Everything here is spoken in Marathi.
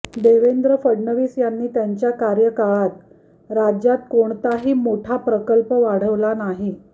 देवेंद्र फडणवीस यांनी त्यांच्या कार्यकाळात राज्यात कोणताही मोठा प्रकल्प वाढवला नाही